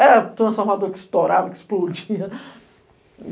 Era transformador que estourava, que explodia.